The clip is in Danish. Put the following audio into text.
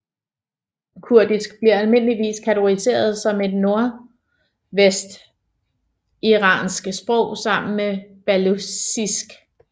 Kurdisk bliver almindeligvis kategoriseret som et nordvestiransk sprog sammen med baluchisk